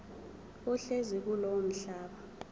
ohlezi kulowo mhlaba